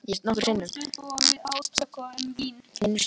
Ég ólst upp við átök um vín.